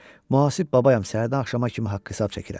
Mühasib babayam səhərdən axşama kimi haqq-hesab çəkirəm.